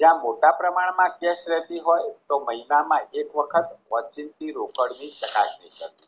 જ્યાં મોટા પ્રમાણમાં કેસ રહેતી હોય તો મહિનામાં એક વખત વચ્ચેથી રોકડની ચકાસણી કરવી